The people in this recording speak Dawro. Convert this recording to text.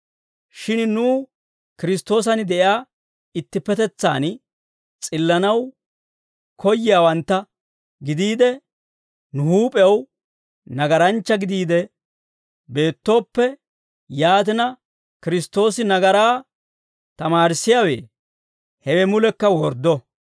Shin nuw Kiristtoosan de'iyaa ittippetetsaan s'illanaw koyyiyaawantta gidiide, nu huup'ew nagaranchcha gidiide beettooppe, yaatina Kiristtoosi nagaraa tamaarissiyaawe? Hewe mulekka worddo!